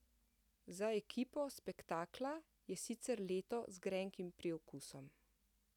Za ekipo spektakla je sicer leto z grenkim priokusom.